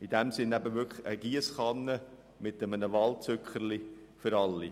In diesem Sinn handelt es sich wirklich um eine Giesskanne mit einem Wahlzückerchen für alle.